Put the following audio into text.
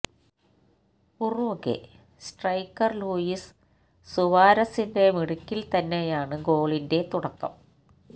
Uruguay striker Luis സുവാരസിന്റെ മിടുക്കില് തന്നെയാണ് ഗോളിന്റെ തുടക്കം